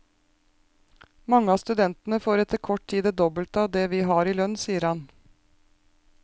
Mange av studentene får etter kort tid det dobbelte av det vi har i lønn, sier han.